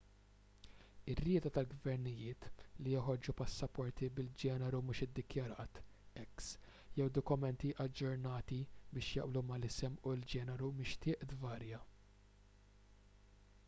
ir-rieda tal-gvernijiet li joħorġu passaporti bil-ġeneru mhux iddikjarat x jew dokumenti aġġornati biex jaqblu mal-isem u l-ġeneru mixtieq tvarja